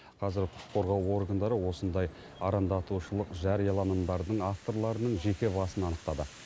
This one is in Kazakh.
қазір құқық қорғау органдары осындай арандатушылық жарияланымдардың авторларының жеке басын анықтады